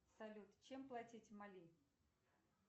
салют чем платить в мали